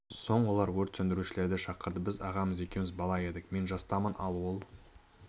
соң олар өрт сөндірушілерді шақырды біз ағамыз екеуіміз бала едік мен жастамын ал ол